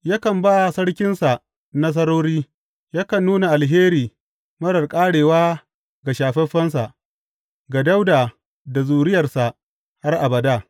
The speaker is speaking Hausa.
Yakan ba sarkinsa nasarori; yakan nuna alheri marar ƙarewa ga shafaffensa, ga Dawuda da zuriyarsa har abada.